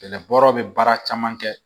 Kɛlɛ bɔrɔ bɛ baara caman kɛ